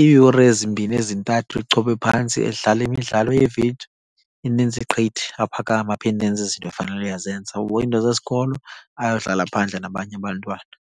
Iiyure ezimbini ezintathu echophe phantsi edlala imidlalo yeevidiyo inintsi gqithi, aphakame aphinde enze izinto afanele uyazenza, ahoye iinto zesikolo, ayodlala phandle nabanye abantwana.